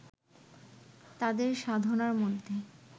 তাঁদের সাধনার মধ্যে